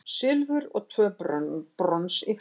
Silfur og tvö brons í frjálsum